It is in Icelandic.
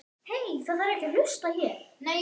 En dómarar?